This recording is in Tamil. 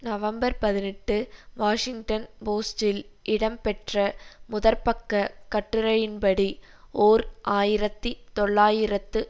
நவம்பர்பதினெட்டு வாஷிங்டன் போஸ்டில் இடம் பெற்ற முதற்பக்கக் கட்டுரையின்படி ஓர் ஆயிரத்தி தொள்ளாயிரத்து